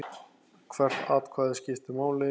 Hvert atkvæði skiptir máli.